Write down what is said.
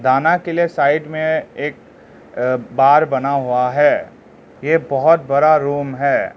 के लिए साइड में एक बार बना हुआ है ये बहुत बड़ा रूम है।